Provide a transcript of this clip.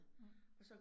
Mh